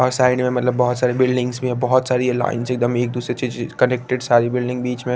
और साइड में मतलब बहुत सारी बिल्डिंग्स भी हैं बहुत सारी ये लाइन्स एक दम एक दुसरे से कनेक्टेड सारी बिल्डिंग बीच में --